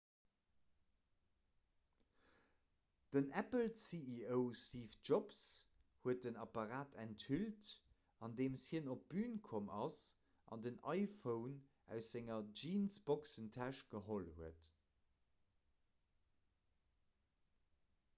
den apple-ceo steve jobs huet den apparat enthüllt andeem hien op d'bün komm ass an den iphone aus senger jeansboxentäsch geholl huet